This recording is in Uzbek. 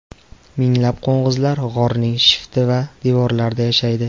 Minglab qo‘ng‘izlar g‘orning shifti va devorlarida yashaydi.